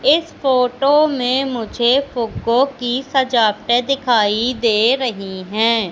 इस फोटो में मुझे फ़ूग्गो की सजावटे दिखाई दे रही है।